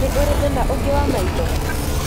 Nĩ ũrĩ thĩna ũngĩ wa maitho?